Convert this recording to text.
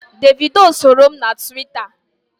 Davido soro m na Twitta.